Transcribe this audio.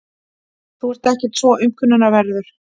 Þú ert ekkert svo aumkunarverður.